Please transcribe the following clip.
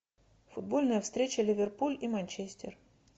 футбольная встреча ливерпуль и манчестер